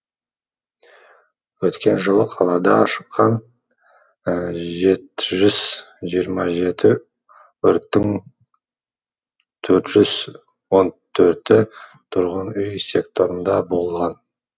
өткен жылы қалада шыққан жеті жүз жиырма жеті өрттің төрт жүз он төрті тұрғын үй секторында болған